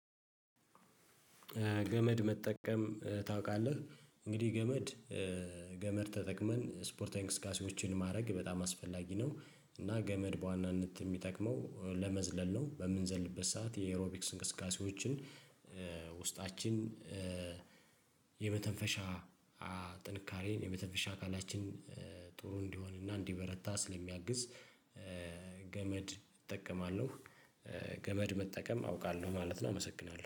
ገመድ መጠቀም ታውቃለህ? እንግዲህ ገመድ ገመድ ተጠቅመን ስፖርታዊ እንቅስቃሴዎችን ማድረግ በጣም አስፈላጊ ነው። እና ገመድ በዋናነት የሚጠቅመው ለመዝለል ነው። በምንዘልበት ሰዓት የኤሮቢክስ እንቅስቃሴዎችን ውስጣችን የመተንፈሻ ጥንካሬን የመተንፈሻ አካላችን ጥሩ እንዲሆንና እንዲበረታ ስለሚያግዝ ገመድ እጠቀማለሁ ገመድ መጠቀም አውቃለሁ ማለት ነው አመሰግናለሁ።